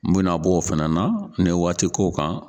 N mɛna bɔ o fana na n ne waati k'o kan.